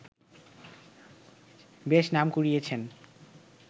বেশ নাম কুড়িয়েছেন